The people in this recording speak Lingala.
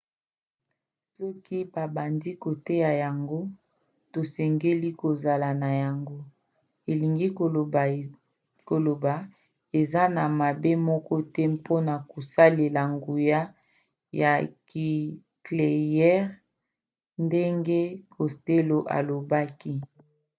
soki babandi koteka yango tosengeli kozala na yango. elingi koloba eza na mabe moko te mpona kosalela nguya ya nikleyere ndenge costello alobaki